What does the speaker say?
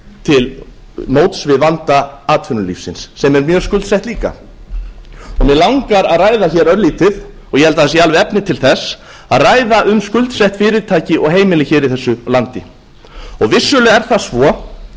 til móts við vanda atvinnulífsins sem er mjög skuldsett líka mig langar að ræða hér örlítið og ég held að það séu alveg efni til þess að ræða um skuldsett fyrirtæki og heimili hér í þessu landi vissulega er það svo